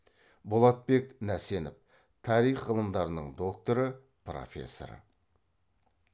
болатбек нәсенов тарих ғылымдарының докторы профессор